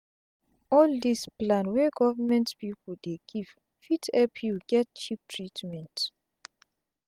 all dis plan wey government pipu dey give fit epp u get cheap treatment